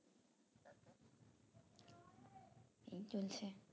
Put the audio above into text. এই চলছে